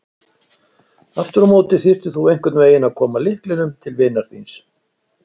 Aftur á móti þyrftir þú einhvern veginn að koma lyklinum til vinar þíns.